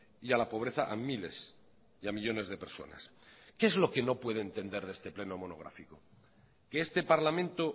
y a la pobreza a miles y a millónes de personas qué es lo que no puede entender de este pleno monográfico que este parlamento